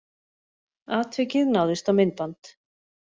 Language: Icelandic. Atvikið náðist á myndband